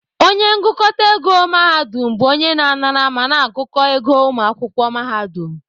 Onye ngụkọta ego mahadum bụ onye na-anara ma na-agụkọ ego ụmụ akwụkwọ mahadum